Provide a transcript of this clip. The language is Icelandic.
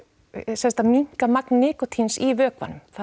sem sagt að minnka magn nikótíns í vökvanum það